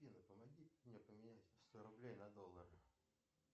афина помоги мне поменять сто рублей на доллары